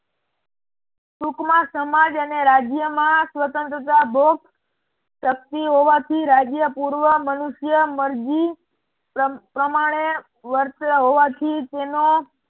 ટૂંક માં સમાજ અને રાજ્ય માં સ્વતંત્રતા ભોગ શક્તિ હોવાથી રાજ્ય પૂર્વ મનુષ્ય મરજી પ્રમાણે વર્તે હોવાથી તેનો